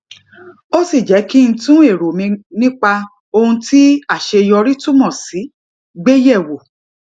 ó sì jé kí n tún èrò mi nípa ohun tí àṣeyọrí túmò sí gbé yè wò